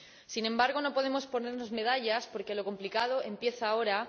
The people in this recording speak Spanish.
Sin embargo, no podemos ponernos medallas, porque lo complicado empieza ahora.